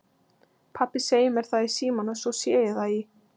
Pabbi segir mér það í símann og svo sé ég það í